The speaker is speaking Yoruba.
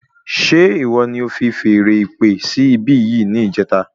Ṣe ìwọ ní o fi feèrè ìpè sí ibi yìí ní ìjẹta